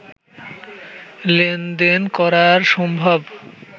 লেনদেন করা সম্ভব